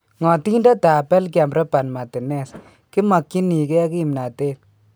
Ng'atindetab Belgium Robert Martinez: "Kimakyinikee kimnatet .